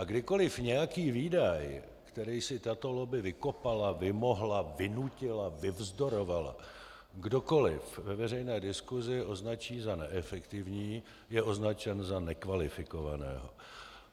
A kdykoliv nějaký výdaj, který si tato lobby vykopala, vymohla, vynutila, vyvzdorovala, kdokoli ve veřejné diskusi označí za neefektivní, je označen za nekvalifikovaného.